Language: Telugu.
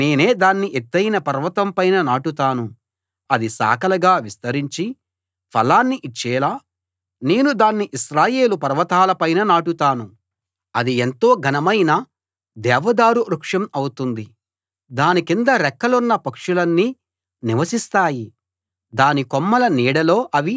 అది శాఖలుగా విస్తరించి ఫలాన్ని ఇచ్చేలా నేను దాన్ని ఇశ్రాయేలు పర్వతాల పైన నాటుతాను అది ఎంతో ఘనమైన దేవదారు వృక్షం అవుతుంది దాని కింద రెక్కలున్న పక్షులన్నీ నివసిస్తాయి దాని కొమ్మల నీడలో అవి తమ గూళ్ళు కట్టుకుని పిల్లలను పెడతాయి